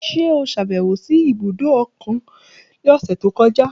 Ṣe o ṣabẹwo si ibudo okun ni ọsẹ to kọja?